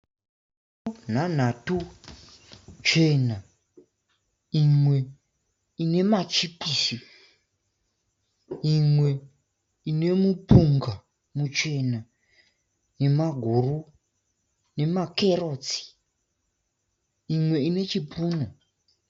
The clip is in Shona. Ndiro nhanhatu chena imwe ine machipisi, imwe ine mupunga muchena nemaguru nema kerotsi Imwe ine chipunu.